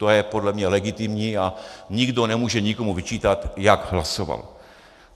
To je podle mě legitimní a nikdo nemůže nikomu vyčítat, jak hlasoval.